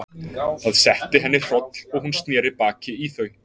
Það setti að henni hroll og hún sneri í þau baki.